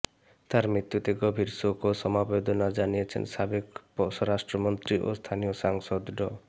তাঁর মৃত্যুতে গভীর শোক ও সমবেদনা জানিয়েছেন সাবেক স্বরাষ্ট্রমন্ত্রী ও স্থানীয় সাংসদ ড